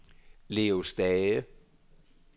Leo Stage